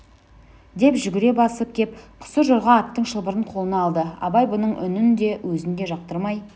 деп жүгіре басып кеп сұржорға аттың шылбырын қолына алды абай бұның үнін де өзін де жақтырмай